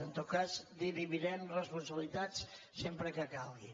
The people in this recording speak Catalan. en tot cas dirimirem res·ponsabilitats sempre que calgui